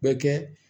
Bɛ kɛ